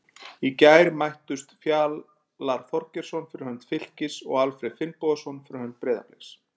Í gær mættust Fjalar Þorgeirsson fyrir hönd Fylkis og Alfreð Finnbogason fyrir hönd Breiðabliks.